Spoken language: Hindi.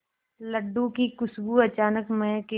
लड्डू की खुशबू अचानक महके